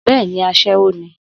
Bẹ́ẹ̀ni, aṣẹ́wó ni.